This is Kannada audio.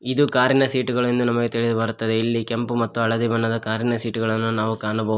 ಇದು ಕಾರಿನ ಸೀಟುಗಳು ಎಂದು ನಮಗೆ ತಿಳಿದು ಬರುತ್ತದೆ ಇಲ್ಲಿ ಕೆಂಪು ಮತ್ತು ಹಳದಿ ಬಣ್ಣದ ಕಾರಿನ ಸೀಟ್ ಗಳನ್ನು ನಾವು ಕಾಣಬಹು--